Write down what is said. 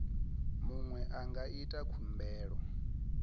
muṅwe a nga ita khumbelo